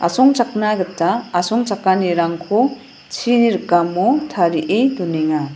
asongchakna gita asongchakanirangko chini rikamo tarie donenga.